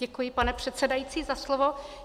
Děkuji, pane předsedající, za slovo.